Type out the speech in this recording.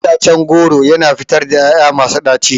Itacen goro yana fitar ƴaƴa masu ɗaci.